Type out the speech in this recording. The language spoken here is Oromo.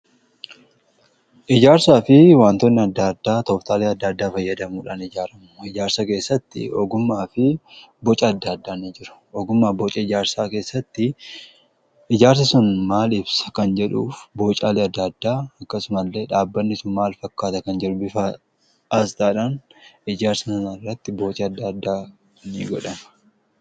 Ijaarsaa fi waantoonni adda addaa toftaalee adda addaa fayyadamuudhaan ijaaramu. Ijaarsa keessatti ogummaa fi boca adda addaa ni jiru ogummaa boca ijaarsaa keessatti ijaarsi sun maal ibsa kan jedhuuf boocaalee adda addaa akkasumasillee dhaabbanni sun maal fakkaata kan jedhu bifasaa adda baasuudhaan ijaarsa sun irratti boci adda addaa ni godhama.